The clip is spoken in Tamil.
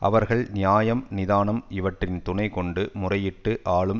அவர்கள் நியாயம் நிதானம் இவற்றின் துணை கொண்டு முறையிட்டு ஆளும்